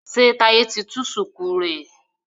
ṣe Taiye tí tú shuku rẹ?